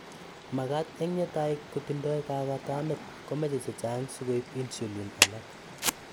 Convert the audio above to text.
magat eng yetay kotindai kaagaatannet komeche chechang sikoiib insulin alak